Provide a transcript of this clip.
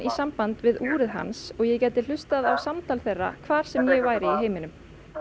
samband við úrið hans og ég gæti hlustað á samtal þeirra hvar sem ég væri í heiminum